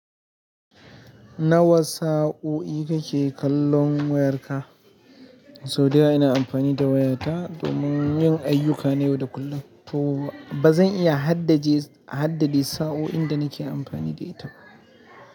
Nawa sa'o'i kake kallon wayarka? Sau da yawa ina amfani da waya ta domin yin ayyuka na yau da kullun, to ba zan iya haddaje, haddade sa'o'in da nake amfani da ita ba.